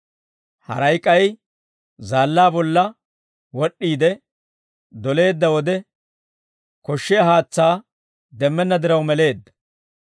Haray k'ay zaallaa bolla wod'd'iide doleedda wode koshshiyaa haatsaa demmenna diraw meleedda.